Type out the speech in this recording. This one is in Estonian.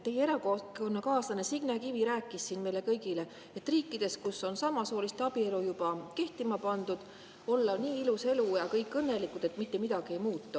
Teie erakonnakaaslane Signe Kivi rääkis siin meile kõigile, et riikides, kus on samasooliste abielu juba kehtima pandud, olla nii ilus elu ja kõik nii õnnelikud, et mitte midagi ei muudeta.